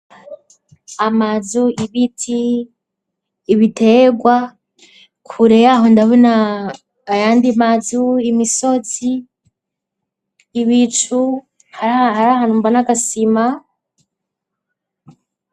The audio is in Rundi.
Amazu, ibiti, ibitegwa kureyaho ndabona ayandi mazu ,imisozi ,ibicu hari ahantumba n'agasima.